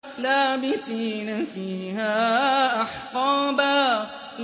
لَّابِثِينَ فِيهَا أَحْقَابًا